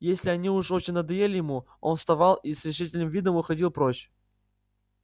если они уж очень надоедали ему он вставал и с решительным видом уходил прочь